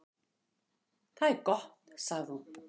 """Það er gott, sagði hún."""